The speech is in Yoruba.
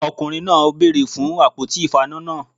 Ọkùnrin náà bèèrè fun àpótí ìfaná náà